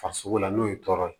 Farisoko la n'o ye tɔɔrɔ ye